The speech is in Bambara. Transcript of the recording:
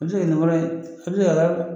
A bɛ se ka kɛ nin kɔrɔ ye a bɛ se ka